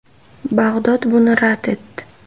Bag‘dod buni rad etdi.